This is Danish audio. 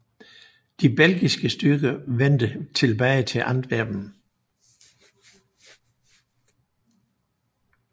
De belgiske styrker vendte tilbage til Antwerpen